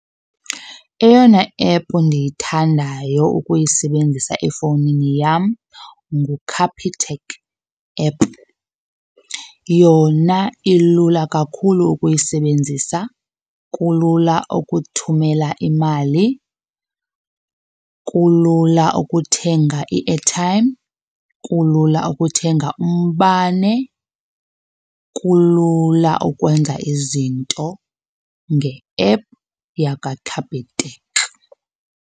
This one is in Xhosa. Eyona ephu ndiyithandayo ukuyisebenzisa efowunini yam nguCapitec app. Yona ilula kakhulu ukuyisebenzisa, kulula ukuthumela imali, kulula ukuthenga i-airtime, kulula ukuthenga umbane, kulula ukwenza izinto nge-ephu yakwaCapitec.